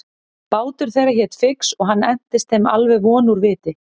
Bátur þeirra hét Fix og hann entist þeim alveg von úr viti.